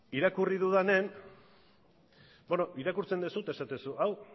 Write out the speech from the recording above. irakurri dudanean beno irakurtzen duzu eta esaten duzu hau